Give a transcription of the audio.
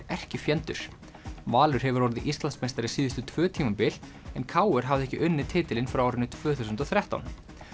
erkifjendur Valur hefur orðið Íslandsmeistari síðustu tvö tímabil en k r hafði ekki unnið titilinn frá árinu tvö þúsund og þrettán